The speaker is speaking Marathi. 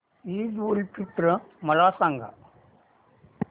ईद उल फित्र मला सांग